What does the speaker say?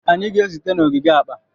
Anyị ga-ezute n'ogige akpa.